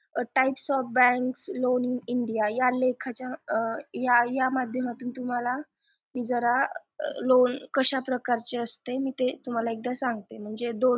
Types of bank Loan India या लेखाच्या या माध्यमातून तुम्हाला मी जरा loan कशा प्रकारचे असते मी तुम्हाला एकदा सांगते म्हणजे दोन